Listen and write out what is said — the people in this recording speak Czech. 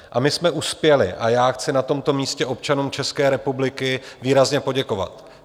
A my jsme uspěli a já chci na tomto místě občanům České republiky výrazně poděkovat.